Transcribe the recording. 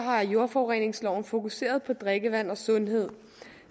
har jordforureningsloven fokuseret på drikkevand og sundhed